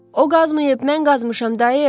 O qazmayıb, mən qazmışam, dayı.